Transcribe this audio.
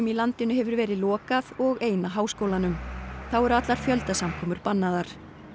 landinu hefur verið lokað og eina háskólanum þá eru allar bannaðar